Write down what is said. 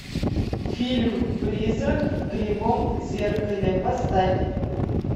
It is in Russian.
фильм призрак в кривом зеркале поставь